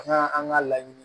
An ka an ka laɲini